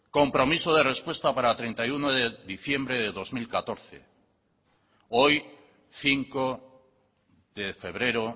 compromiso de respuesta para treinta y uno de diciembre del dos mil catorce hoy cinco de febrero